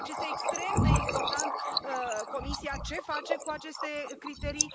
Deci este extrem de important Comisia ce face cu aceste criterii.